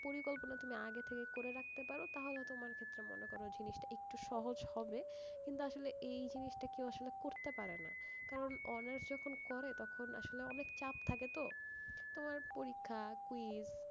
পরিকল্পনা তুমি আগে থেকে করে রাখতে পারো, তাহলে তোমার ক্ষেত্রে মনে করো জিনিস টা একটু সহজ হবে, কিন্তু আসলে এই জিনিস টা কেও আসলে করতে পারে না, কারণ honours যখন করে তখন আসলে অনেক চাপ থাকে তো, তোমার পরীক্ষা, quiz,